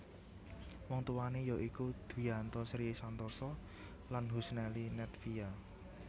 Wong tuwané ya iku Dwianto Sri Santosa lan Husnelly Nedvia